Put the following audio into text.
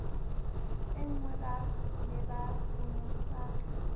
e nngweba ne ba bonesaka